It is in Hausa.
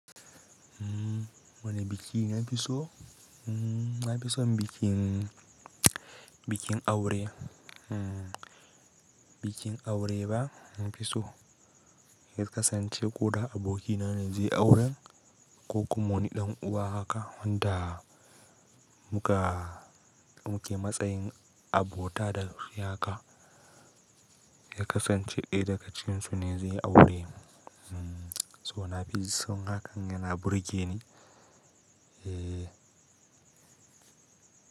Wane biki na fi so? Na fi son bikin, bikin aure. Bikin aure ba na fi so. Ya kasance ko da abokina ne zai auren ko kuma wani ɗan uwa haka wanda muka, muke matsayin abota da shi haka. Ya kasance ɗaya daga cikin su ne zai yi aure. So na fi son hakan yana burge ni. Eh.